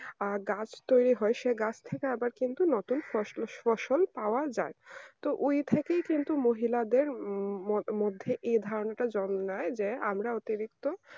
গাছ তৈরি হয় সেই গাছ থেকে আবার কিন্তু নতুন ফসল পাওয়া যায় তো ওই থেকেই কিন্তু মহিলাদের মধ্যে এই ধারণা জন্মায় যে আমরা অতিরিক্ত